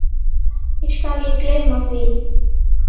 Ekki skal því gleymt.